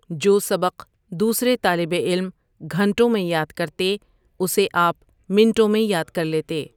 جو سبق دوسرے طالب علم گھنٹوں میں یاد کرتے اسے آپ منٹوں میں یاد کر لیتے۔